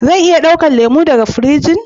Zan iya dauka lemu daga firijin?